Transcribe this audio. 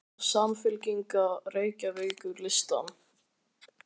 Á Samfylkingin Reykjavíkurlistann?